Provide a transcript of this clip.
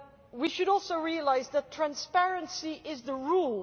We should also realise that transparency is the rule.